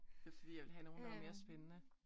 Det fordi jeg vil have nogen der er mere spændende